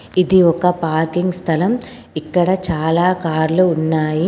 ఇది ఒక పార్కింగ్ స్థలం. ఇక్కడ చాలా కార్లు ఉన్నాయి.